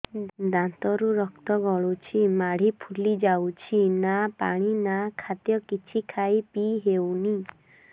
ଦାନ୍ତ ରୁ ରକ୍ତ ଗଳୁଛି ମାଢି ଫୁଲି ଯାଉଛି ନା ପାଣି ନା ଖାଦ୍ୟ କିଛି ଖାଇ ପିଇ ହେଉନି